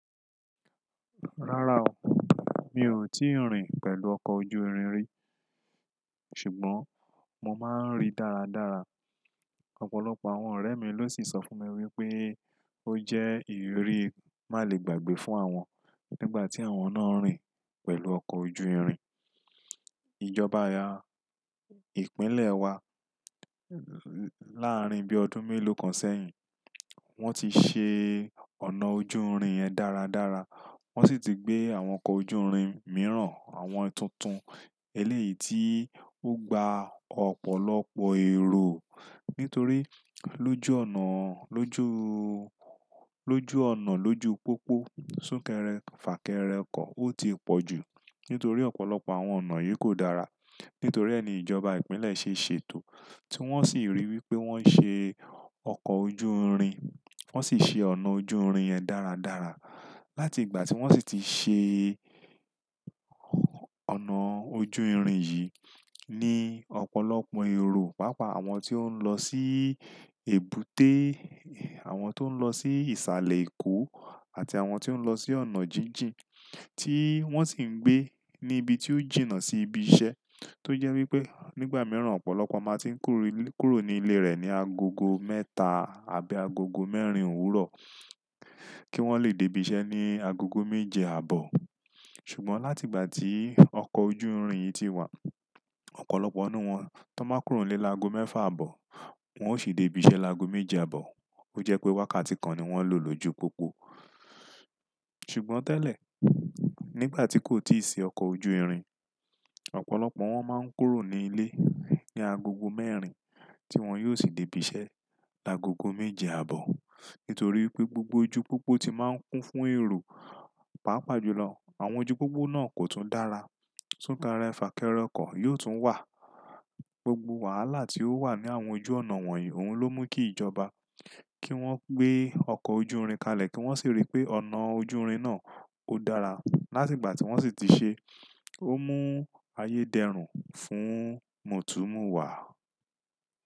Rárá o, mi ò tíì rìn pẹ̀lú ọkọ̀ ojú irin rí. Ṣùgbọ́n mo máa ń rí dáradára. Ọ̀pọ̀lọpọ̀ àwọn ọ̀rẹ́ mi ló sì sọ fún mi wípé ó jẹ́ ìrírí má le gbàgbé fún àwọn nígbà tí àwọn náà ń rìn pẹ̀lú ọkọ̀ ojú irin. Ìjọba ìpínlẹ̀ wa láàárín bí ọdún mélòó kan sẹ́yìn, wọ́n ti ṣe ọnà ojú irin yẹn dáradára, wọ́n sì ti gbé àwọn ọkọ̀ ojú irin mìíràn, àwọn tuntun eléyìí tí ó gba ọ̀pọ̀lọpọ̀ èrò. Nítorí lójú ọ̀nà, lójúú, lójú ọ̀nà, lójú pópó, sún kẹrẹ, fà kẹrẹ ọkọ̀ ó ti pọ̀ jù. Nítorí ọ̀pọ̀lọpọ̀ àwọn ọ̀nà yìí kò dára. Nítorí ẹ́ ni ìjọba ìpínlẹ̀ ṣe ṣètò, tí wọ́n sì rí wípé wọ́n ṣe ọkọ̀ ojú irin, wọ́n sì ṣe ọ̀nà ojú irin yẹn dáradára. Láti ìgbà tí wọ́n sì ti ṣe ọ̀nà ojú irin yìí ní ọ̀pọ̀lọpọ̀ èrò. Pàápàá àwọn tí ó ń lọ sí èbúté, àwọn tó ń lọ sí ìsàlẹ̀ Èkó àti àwọn tí ó ń lọ sí ọ̀nà jíjìn tí wọ́n sì ń gbé níbi tí ó jìnnà sí ibi iṣẹ́. Tó jẹ́ wípé nígbà mìíràn ọ̀pọ̀lọpọ̀ máa tí ń kúrò ní ilé rẹ̀ ní agogo mẹ́ta àbí agogo mẹ́rin òwúrọ̀ kí wọ́n le dé ibi iṣẹ́ ní agogo méje àbọ̀. Ṣùgbọ́n láti ìgbà tí ọkọ̀ ojú irin yìí ti wà, ọ̀pọ̀lọpọ̀ nínú wọn tó máa ń kúrò nílé lágo mẹ́fà àbọ̀, wọn ó sì dé ibi iṣẹ́ lágo méje àbọ̀. Ó jẹ́ pé wákàtí kan ni wọ́n lò lójú pópó. Ṣùgbọ́n tẹ́lẹ̀, nígbà tí kò tíì sí ọkọ̀ ojú irin, ọ̀pọ̀lọpọ̀ wọn máa ń kúrò ní ilé ní agogo mẹ́rin tí wọn yóò sì dé ibi iṣẹ́ làgogo méje àbọ̀. Nítorí pé gbogbo ojú pópó ti máa ń kún fún èrò. Pàápàá jùlọ àwọn ojú pópó náà kò tún dára. Sún kẹrẹ fà kẹrẹ ọkọ̀ yóò tún wà. Gbogbo wàhálà tí ó wà ní àwọn ojú ọ̀nà wọ̀nyí, òun ló mú kí ìjọba kí wọ́n gbé ọkọ̀ ojú irin kalẹ̀ kí wọ́n sì rí pé ọ̀nà ojú irin náà ó dára. Láti ìgbà tí wọ́n sì ti ṣe, ó mú ayédẹ̀rún fún mòtúmọ̀wá.